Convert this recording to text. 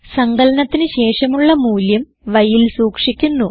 സങ്കലനത്തിന് ശേഷമുള്ള മൂല്യം yൽ സൂക്ഷിക്കുന്നു